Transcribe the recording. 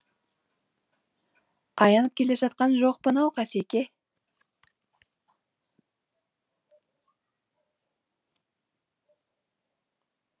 аянып келе жатқан жоқпын ау қасеке